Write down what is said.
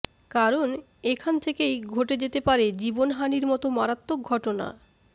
কারণ এখান থেকেই ঘটে যেতে পারে জীবনহানির মতো মারাত্মক ঘটনা